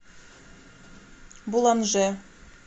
буланже